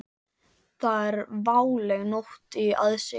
Það er váleg nótt í aðsigi.